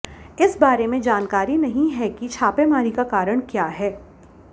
इस बारे में जानकारी नहीं है कि छापेमारी का कारण क्या है